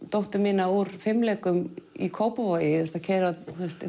dóttur mína úr fimleikum í Kópavogi ég að keyra